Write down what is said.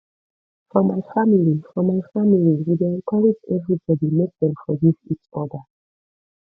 for my family for my family we dey encourage everybody make dem forgive eachoda